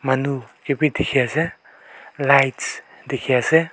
manu kae bi dikhiase lights dikhiase.